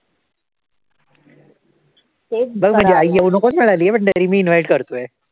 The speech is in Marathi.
बघ माझी आई येऊ नकोच म्हणाली पण तरी मी invite करतोय.